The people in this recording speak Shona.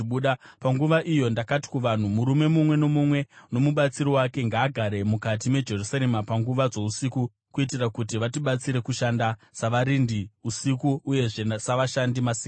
Panguva iyo ndakati kuvanhu, “Murume mumwe nomumwe nomubatsiri wake ngaagare mukati meJerusarema panguva dzousiku, kuitira kuti vatibatsire kushanda savarindi usiku uyezve savashandi masikati.”